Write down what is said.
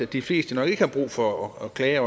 de fleste nok ikke har brug for at klage